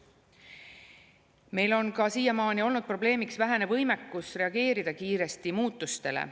Meil on ka siiamaani olnud probleemiks vähene võimekus reageerida kiiresti muutustele.